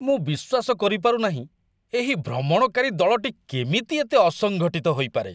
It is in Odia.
ମୁଁ ବିଶ୍ୱାସ କରିପାରୁନାହିଁ ଏହି ଭ୍ରମଣକାରୀ ଦଳଟି କେମିତି ଏତେ ଅସଙ୍ଗଠିତ ହୋଇପାରେ!